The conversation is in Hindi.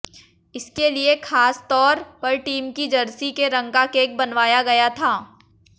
इसके लिए खासतौर पर टीम की जर्सी के रंग का केक बनवाया गया था